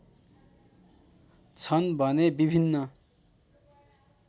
छन् भने विभिन्न